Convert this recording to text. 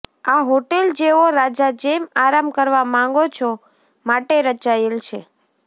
આ હોટેલ જેઓ રાજા જેમ આરામ કરવા માંગો છો માટે રચાયેલ છે